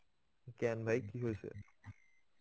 কেন ভাই কি হয়েছে?